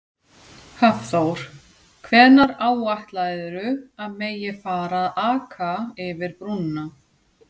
Hafþór: Hvenær áætlarðu að megi að fara að aka yfir brúna?